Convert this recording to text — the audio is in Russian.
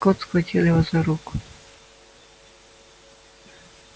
скотт схватил его за руку